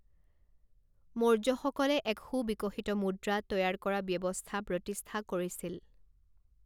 মৌৰ্যসকলে এক সুবিকশিত মুদ্ৰা তৈয়াৰ কৰা ব্যৱস্থা প্ৰতিষ্ঠা কৰিছিল।